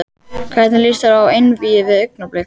Hvernig lýst þér á einvígið við Augnablik?